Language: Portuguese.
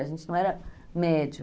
A gente não era médio.